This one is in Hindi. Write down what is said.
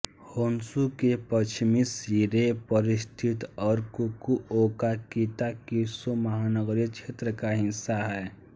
होन्शु के पश्चिमी सिरे पर स्थित है और फुकुओकाकिताकिशो महानगरीय क्षेत्र का हिस्सा है